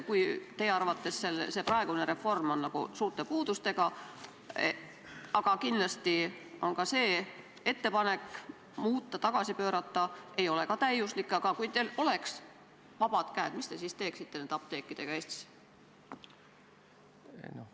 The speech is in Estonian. Kui teie arvates on praegune reform suurte puudustega – aga kindlasti pole ka ettepanek reformi muuta, tagasi pöörata täiuslik – ja teil oleksid vabad käed, siis mis te nende Eesti apteekidega teeksite?